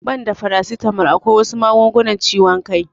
Banda farasitamal akwai wasu magungunan ciwon kai